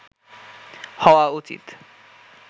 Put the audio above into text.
হওয়া উচিত